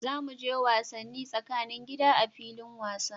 Za mu je wasanni tsakanin gida a filin wasa.